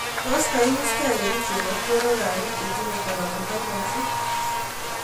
Tos kaiwiskei kericheek ak porwekap piik chetinye coronavirus?